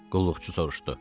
Qulluqçu soruşdu.